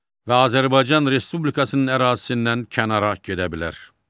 və Azərbaycan Respublikasının ərazisindən kənara gedə bilər.